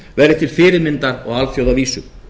verði til fyrirmyndar á alþjóðavísu